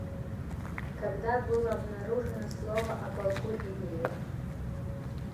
когда было обнаружено слово о полку игореве